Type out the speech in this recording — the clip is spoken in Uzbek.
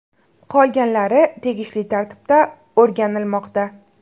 Qolganlari tegishli tartibda o‘rganilmoqda.